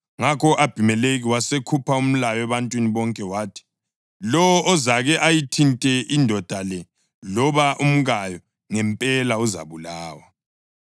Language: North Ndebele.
Ngakho u-Abhimelekhi wasekhupha umlayo ebantwini bonke wathi, “Lowo ozake ayithinte indoda le loba umkayo ngempela uzabulawa.”